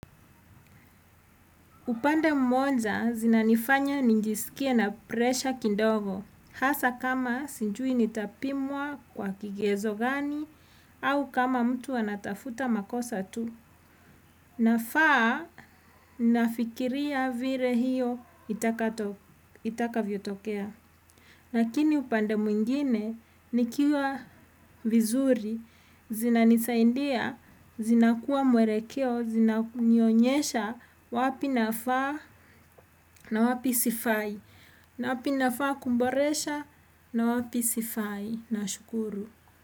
Upande mmonja zinanifanya ninjiskie na presha kindogo. Hasa kama sinjui nitapimwa kwa kigezo gani au kama mtu anatafuta makosa tu. Nafaa nafikiria vire hiyo itakavyotokea. Lakini upande mwingine, nikiwa vizuri, zinanisaindia, zinakuwa mwerekeo, zinanionyesha wapi nafaa na wapi sifai, na wapi nafaa kumboresha na wapi sifai, nashukuru.